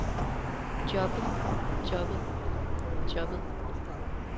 jobbet jobbet jobbet